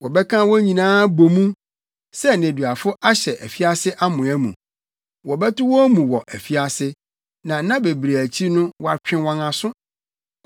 Wɔbɛka wɔn nyinaa abɔ mu sɛ nneduafo ahyɛ afiase amoa mu; wɔbɛto wɔn mu wɔ afiase na nna bebree akyi no wɔatwe wɔn aso.